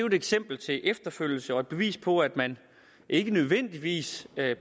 et eksempel til efterfølgelse og et bevis på at man ikke nødvendigvis